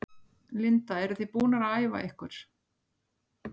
Linda: Eruð þið búnar að æfa ykkur?